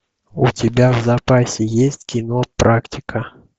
у тебя в запасе есть кино практика